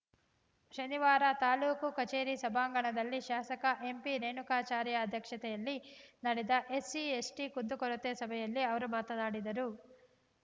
ಶನಿವಾರ ತಾಲೂಕು ಕಚೇರಿ ಸಭಾಂಗಣದಲ್ಲಿ ಶಾಸಕ ಎಂಪಿರೇಣುಕಾಚಾರ್ಯ ಅಧ್ಯಕ್ಷತೆಯಲ್ಲಿ ನಡೆದ ಎಸ್ಸಿ ಎಸ್ಟಿಕುಂದುಕೊರತೆ ಸಭೆಯಲ್ಲಿ ಅವರು ಮಾತನಾಡಿದರು